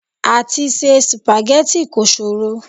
Àti se sìpàgẹ́tì kò ṣòro.